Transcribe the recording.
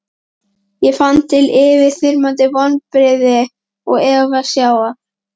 Ég fann til yfirþyrmandi vonbrigða og eftirsjár.